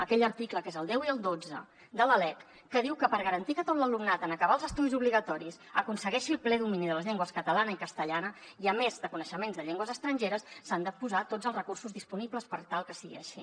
aquell article que és el deu i el dotze de la lec que diu que per garantir que tot l’alumnat en acabar els estudis obligatoris aconsegueixi el ple domini de les llengües catalana i castellana i a més de coneixements de llengües estrangeres s’han de posar tots els recursos disponibles per tal que sigui així